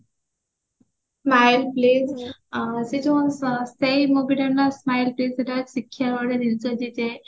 smile please ସେ ଯୋଉ ସେଇ movie ଟା ନାଁ smile please ସେଟା ହଉଚି ଶିଖିବାର ଗୋଟେ ଯେ